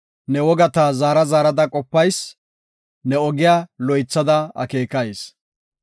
Ne wogata zaara zaarada qopayis ne ogiya loythada akeekayis.